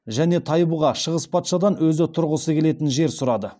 және тайбұға шығыс патшадан өзі тұрғысы келетін жер сұрады